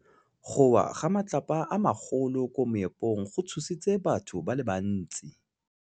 Go wa ga matlapa a magolo ko moepong go tshositse batho ba le bantsi.